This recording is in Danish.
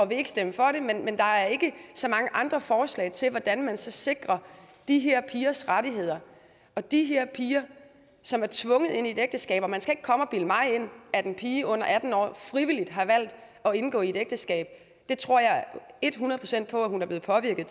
vil stemme for det men men der er ikke så mange andre forslag til hvordan man så sikrer de her pigers rettigheder og de her piger som er tvunget ind i et ægteskab og man skal ikke komme og bilde mig ind at en pige under atten år frivilligt har valgt at indgå et ægteskab det tror jeg et hundrede procent at hun er blevet påvirket